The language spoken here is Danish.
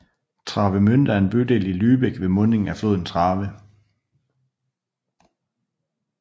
Travemünde er en bydel i Lübeck ved mundingen af floden Trave